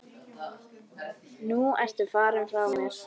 Nú ertu farinn frá mér.